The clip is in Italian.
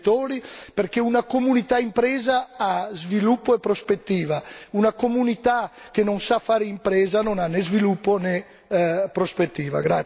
gli imprenditori, perché una comunità impresa ha sviluppo e prospettiva, mentre una comunità che non sa fare impresa non ha né sviluppo né prospettiva.